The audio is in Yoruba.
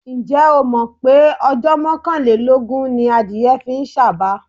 Ǹjẹ́ ìwọ́ mọ̀ pé ọjọ́ mọ́kàlélógún ni adìẹ fi ń sàba?